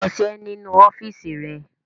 Kọṣẹ́ nínú ọ́fíísì rẹ!